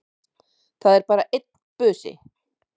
Það var bara einn busi!